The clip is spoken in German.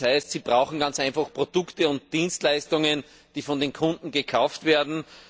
Das heißt, sie brauchen ganz einfach Produkte und Dienstleistungen, die von den Kunden gekauft werden.